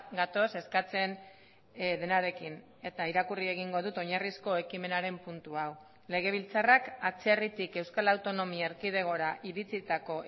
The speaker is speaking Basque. gatoz eskatzen denarekin eta irakurri egingo dut oinarrizko ekimenaren puntu hau legebiltzarrak atzerritik euskal autonomia erkidegora iritsitako